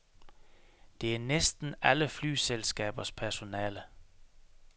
Det er næsten alle flyselskabers personale.